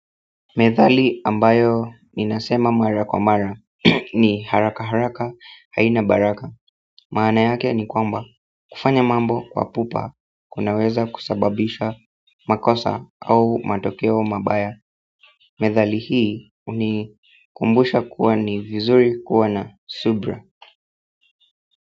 Methali ambayo ninasema mara kwa mara ni, haraka haraka, haina baraka Maana yake ni kwamba kufanya mambo kwa pupa kunaweza kusababisha makosa au matokeo mabaya. Methali hii hunikumbusha kuwa ni vizuri kuwa na subra.